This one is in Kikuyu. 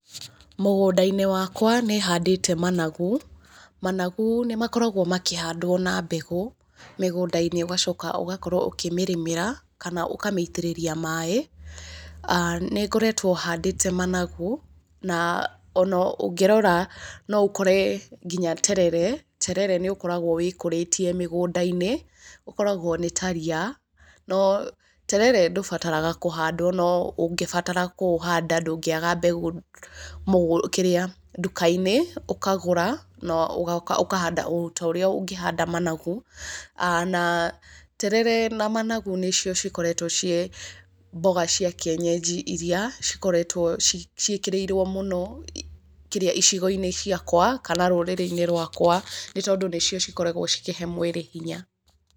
Mũgũnda-inĩ wakwa nĩ handĩte managu. Managu nĩ makoragwo makĩhandwo na mbegũ, mĩgũnda-inĩ, ũgacoka ũgakorwo ũkĩmĩrĩmĩra, kana ũkamĩitĩrĩria maaĩ. Nĩ ngoretwo handĩte managu, na ona ũngĩrora no ũkore nginya terere. Terere nĩ ũkoragwo wĩkũrĩtie mĩgũnda-inĩ. Ũkoragwo nĩ ta riia, no, terere ndũbarataga kũhandwo, no ũngĩbatara kũũhanda ndũngĩaga kũhanda mbegũ kĩrĩa, ndũka-inĩ, ũkagũra, na ũkahanda ota ũrĩa ũngĩhanda managu. Na terere na managu nĩ cio cikoretwo ciĩ mboga cia kĩenyenji iria cikoretwo ciĩkĩrĩirwo mũno [kĩrĩa] icigo-inĩ ciakwa kana rũrĩrĩ-ini rwakwa nĩ tondũ nĩ cio cikoragwo cikĩhe mwĩrĩ hinya.